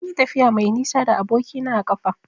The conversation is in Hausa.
Munyi tafiya mai nisa da aboki na a ƙafa.